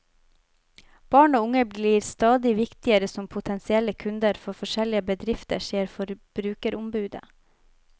Barn og unge blir stadig viktigere som potensielle kunder for forskjellige bedrifter, sier forbrukerombudet.